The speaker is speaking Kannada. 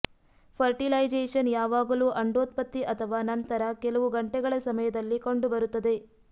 ಫರ್ಟಿಲೈಸೇಷನ್ ಯಾವಾಗಲೂ ಅಂಡೋತ್ಪತ್ತಿ ಅಥವಾ ನಂತರ ಕೆಲವು ಗಂಟೆಗಳ ಸಮಯದಲ್ಲಿ ಕಂಡುಬರುತ್ತದೆ